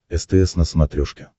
стс на смотрешке